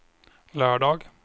lördag